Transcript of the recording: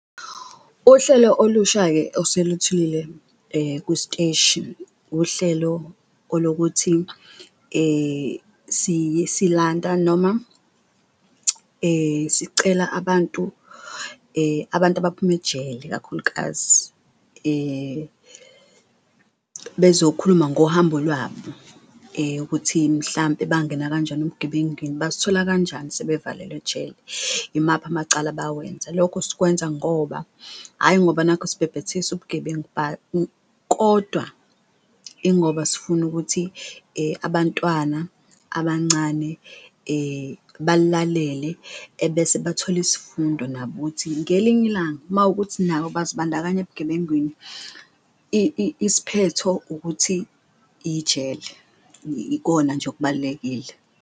Uhlelo olusha-ke oseluthulile kusiteshi uhlelo olokuthi siyisilanta noma sicela abantu abantu abaphuma ejele ikakhulukazi bezokhuluma ngohambo lwabo kuthi mhlampe bangena kanjani ebugebengwini, bazithola kanjani sebevalelwe ejele, imaphi amacala abawenza. Lokho sikwenza ngoba hhayi ngoba nakhu sibhebhethekisa ubugebengu kodwa ingoba sifuna ukuthi abantwana abancane balalele, ebese bathole isifundo nabo ukuthi ngelinye ilanga mawukuthi nabo bazibandakanya ebugebengwini isphetho ukuthi ijele, ikona nje okubalulekile.